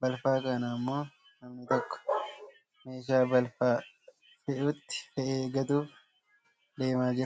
Balfa kana ammoo namni tokko meeshaa balfa fe'utti fe'ee gatuuf deemaa jira.